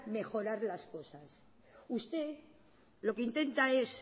mejorar las cosas usted lo que intenta es